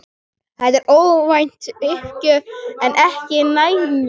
Þetta var óvænt uppgjöf en ekki nægjanleg.